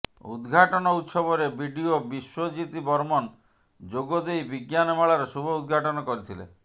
ଉଦଘାଟନ ଉତ୍ସବରେ ବିଡିଓ ବିଶ୍ୱଜିତ ବର୍ମନ ଯୋଗଦେଇ ବିଜ୍ଞାନ ମେଳାର ଶୁଭ ଉଦଘାଟନ କରିଥିଲେ